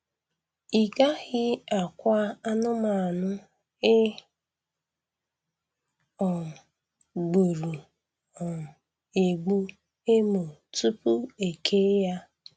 I gaghị akwa anụmanụ e um gburu um egbu emo tupu e kee ya.